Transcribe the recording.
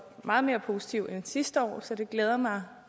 meget mere positiv end sidste år så det glæder mig